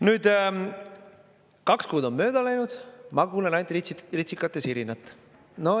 Nüüd, kaks kuud on mööda läinud, ma kuulen ainult ritsikate sirinat.